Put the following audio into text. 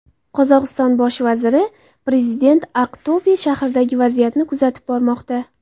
Qozog‘iston bosh vaziri: Prezident Aqto‘be shahridagi vaziyatni kuzatib bormoqda.